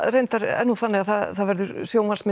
reyndar þannig að það verður